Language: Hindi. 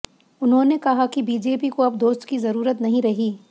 उन्होंने कहा कि बीजेपी को अब दोस्त की जरूरत नहीं रही